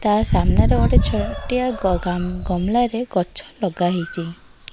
ତା ସାମ୍ନାରେ ଗୋଟେ ଛୋଟିଆ ଗାଙ୍ଗଲାରେ ଗଛ ଲଗାହେଇଚି ।